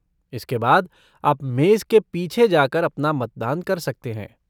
इसके बाद, आप मेज़ के पीछे जा कर अपना मतदान कर सकते हैं।